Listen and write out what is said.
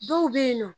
Dɔw bɛ yen nɔ